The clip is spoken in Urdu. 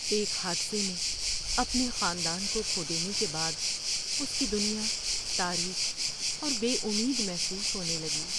ایک حادثے میں اپنے خاندان کو کھو دینے کے بعد اس کی دنیا تاریک اور بے امید محسوس ہونے لگی۔